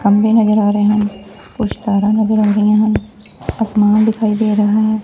ਖੰਬੇ ਨਜ਼ਰ ਆ ਰਹੇ ਹਨ ਕੁਝ ਤਾਰਾ ਨਜ਼ਰ ਆ ਰਹੀਆਂ ਹਨ ਅਸਮਾਨ ਦਿਖਾਈ ਦੇ ਰਹਾ ਹੈ।